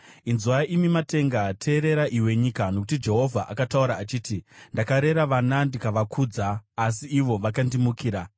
Inzwai imi matenga! Teerera iwe nyika! Nokuti Jehovha akataura achiti, “Ndakarera vana ndikavakudza, asi ivo vakandimukira.